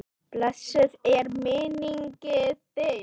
Blessuð er minning þín.